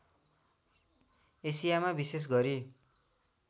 एसियामा विशेष गरी